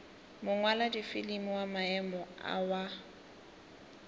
mongwaladifilimi wa maemo a wa